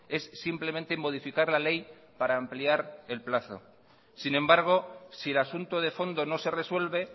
es simplemente modificar la ley para ampliar el plazo sin embargo si el asunto de fondo no se resuelve